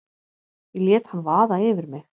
Ég lét hann vaða yfir mig.